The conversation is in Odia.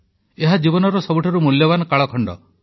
ଏହା ଜୀବନର ସବୁଠାରୁ ମୂଲ୍ୟବାନ କାଳଖଣ୍ଡ